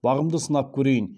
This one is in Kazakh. бағымды сынап көрейін